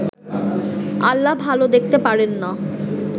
আল্লাহ ভাল দেখতে পারেন না